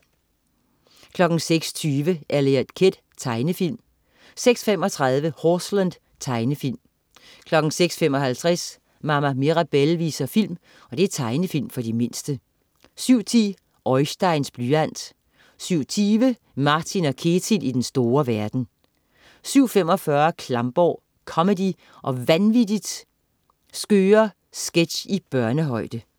06.20 Eliot Kid. Tegnefilm 06.35 Horseland. Tegnefilm 06.55 Mama Mirabelle viser film. Tegnefilm for de mindste 07.10 Oisteins blyant 07.20 Martin & Ketil i den store verden 07.45 Klamborg. Comedy og vanvittigt skøre sketch i børnehøjde